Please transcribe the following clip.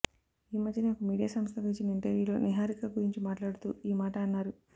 ఈ మధ్యనే ఒక మీడియా సంస్థకు ఇచ్చిన ఇంటర్వ్యూలో నిహారిక గురించి మాట్లాడుతూ ఈ మాట అన్నారు